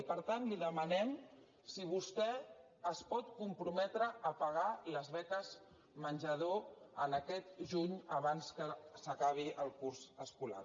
i per tant li demanem si vostè es pot comprometre a pagar les beques menjador aquest juny abans que s’acabi el curs escolar